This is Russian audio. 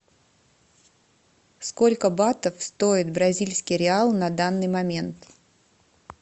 сколько батов стоит бразильский реал на данный момент